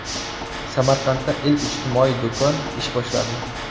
Samarqandda ilk ijtimoiy do‘kon ish boshladi.